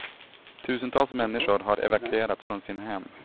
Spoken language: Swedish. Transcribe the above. Tusentals människor har evakuerats från sina hem.